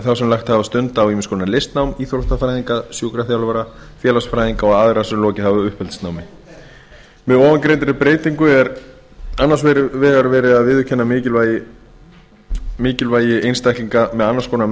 þá sem lagt hafa stund á ýmiss konar listnám íþróttafræðinga sjúkraþjálfara félagsfræðinga og aðra sem lokið hafa uppeldisnámi með ofangreindri breytingu er annars vegar verið að viðurkenna mikilvægi einstaklinga með annars konar